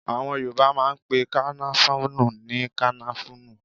Àwọn Yorùbá máà ń pe kànáfùrú ní kànáfùrú